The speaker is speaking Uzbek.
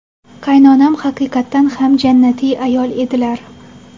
Qaynonam haqiqatdan ham jannati ayol edilar.